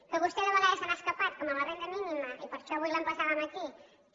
que vostè de vegades se n’ha escapat com amb la renda mínima i per això avui l’emplaçàvem aquí també